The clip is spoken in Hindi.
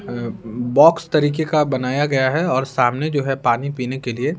अ बॉक्स तरीके का बनाया गया है और सामने जो है पानी पीने के लिए--